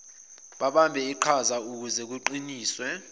babambe iqhazaukuze kuqiniswe